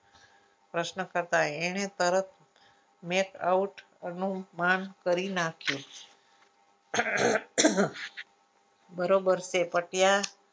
પ્રશ્નકર્તા એણે તરત make out નુંપર નું માન કરી નાખ્યું બરોબર છે પણ ત્યાં